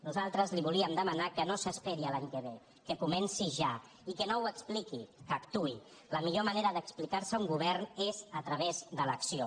nosaltres li volíem demanar que no s’esperi a l’any que ve que comenci ja i que no ho expliqui que actuï la millor manera d’explicar se un govern és a través de l’acció